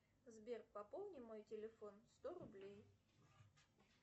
сбер пополни мой телефон сто рублей